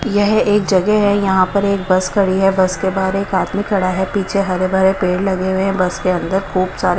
यह एक जगह है यहां पर एक बस खड़ी है बस के बाहर एक आदमी खड़ा है पीछे हरे भरे पेड़ लगे हुए हैं बस के अंदर खूब सारे--